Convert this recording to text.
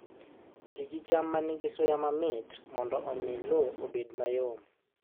Ti gi cham ma nigi suya mamit mondo omi lowo obed mayom